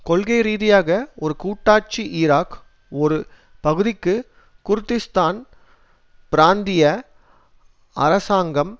கொள்கைரீதியாக ஒரு கூட்டாட்சி ஈராக் ஒரு பகுதிக்கு குர்திஸ்தான் பிராந்திய அரசாங்கம்